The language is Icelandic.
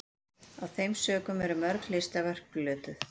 af þeim sökum eru mörg listaverk glötuð